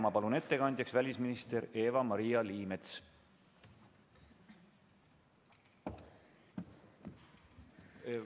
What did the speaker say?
Ma palun ettekandjaks välisminister Eva-Maria Liimetsa.